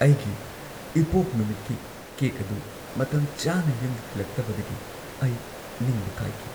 ꯑꯩꯒꯤ ꯏꯄꯣꯛ ꯅꯨꯃꯤꯠꯀꯤ ꯀꯦꯛ ꯑꯗꯨ ꯃꯇꯝꯆꯥꯅ ꯌꯨꯝꯗ ꯊꯤꯜꯂꯛꯇꯕꯗꯒꯤ ꯑꯩ ꯅꯤꯡꯕ ꯀꯥꯏꯈꯤ꯫